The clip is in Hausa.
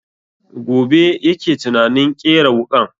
Gobe yake tunanin ƙera wuƙan